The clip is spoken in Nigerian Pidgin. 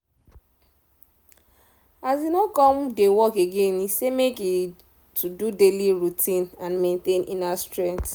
as e no come dey work again e say make e to do daily routine and maintain inner strength